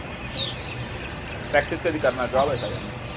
practice कधी करणार job आहे सगळ्यांना